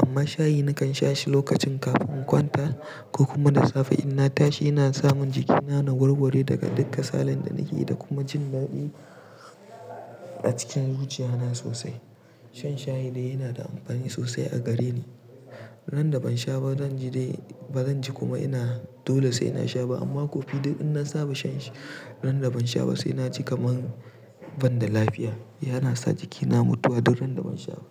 Amma shayi nakan sha shi lokacin kafin kwanta ko kuma da safe in na tashi yana samun jikina na gurgure daga duk kasalan da na yi da kuma jin maɓi a cikin zuciyana sosai. Shan shayi dai yana da amfani sosai a gareni. Ran da ban sha ba zan ji dai ba zan ji kuma ina, dole sai na sha ba amma kofi duk in na saba shan shi ran da ban sha ba sai na ji kamar ban da lafiya. Yana sa jikina mutuwa duk ran da ban sha ba.